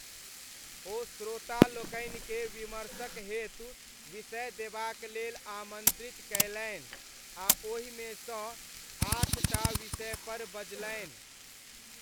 ओ श्रोतालोकनिकेँ विमर्शक हेतु विषय देबाक लेल आमन्त्रित कयलनि आ ओहिमे सँ आठ टा विषयपर बजलनि।